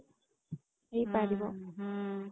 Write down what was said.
ହେଇପାରିବ ହୁଁ